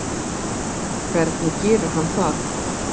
Hvernig gerir hann það?